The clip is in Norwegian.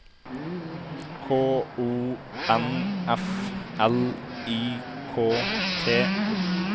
K O N F L I K T